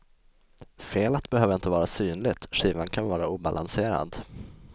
Felet behöver inte vara synligt, skivan kan vara obalanserad.